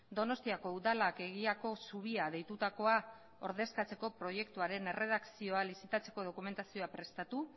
donostiako udalak egiako zubia deitutakoa ordezkatzeko proiektuaren erredakzioa lizitatzeko dokumentazioa prestatu